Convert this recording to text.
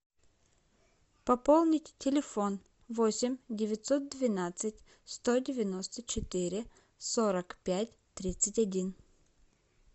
пополнить телефон восемь девятьсот двенадцать сто девяносто четыре сорок пять тридцать один